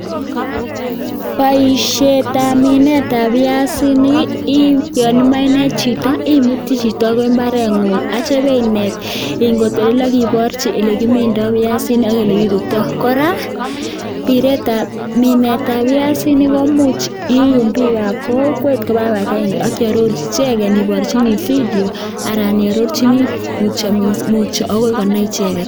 Boishetab minetab piasinik ii, yon imoe inet chito, imuti chito agoi mbareng'ung ak kityo inet. Ingotelel ak iborchi ele kimindoi piasinik ok ole kitutiito. Kora minetab piasinik komuch iyum bikab kokwet koba kibagenge ak iarorji icheget iborjini video anan iarorjini mutyo agoi konai icheget.